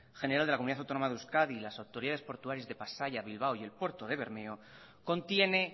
general de la comunidad autónoma de euskadi y las autoridades portuarias de pasaia bilbao y el puerto de bermeo contiene